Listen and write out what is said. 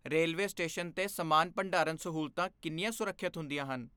Railway station 'ਤੇ ਸਮਾਨ ਭੰਡਾਰਨ ਸਹੂਲਤਾਂ ਕਿੰਨੀਆਂ ਸੁਰੱਖਿਅਤ ਹੁੰਦੀਆਂ ਹਨ?